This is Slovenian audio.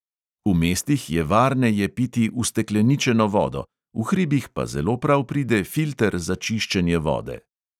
V mestih je varneje piti ustekleničeno vodo, v hribih pa zelo prav pride filter za čiščenje vode.